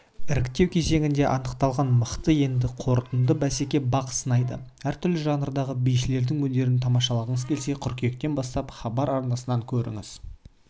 іріктеу кезеңінде анықталған мықты енді қорытынды бәсекеде бақ сынайды әртүрлі жанрдағы бишілердің өнерін тамашалағыңыз келсе қыркүйеткен бастап хабар арнасын көріңіздер